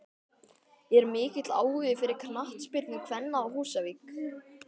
Er mikill áhugi fyrir knattspyrnu kvenna á Húsavík?